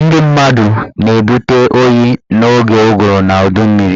Ndị mmadụ na-ebute oyi n'oge ụgụrụ na udummiri